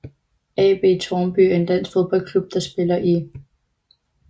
AB Tårnby er en dansk fodboldklub der spiller i